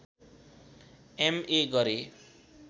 MA गरे